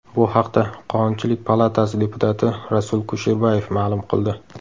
Bu haqda Qonunchilik palatasi deputati Rasul Kusherbayev ma’lum qildi .